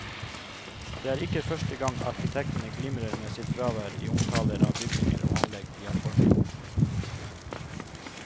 Det er ikke første gang arkitektene glimrer med sitt fravær i omtaler av bygninger og anlegg de har formgitt.